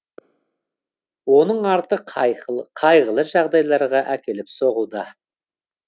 оның арты қайғылы жағдайларға әкеліп соғуда